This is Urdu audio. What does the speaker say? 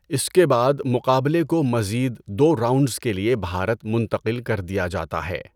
اس کے بعد مقابلے کو مزید دو راؤنڈز کے لیے بھارت منتقل کر دیا جاتا ہے۔